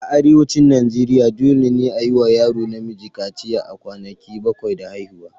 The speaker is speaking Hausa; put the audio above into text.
A Arewacin Najeriya, dole ne a yi wa yaro namiji kaciya a kwanaki bakwai da haihuwa.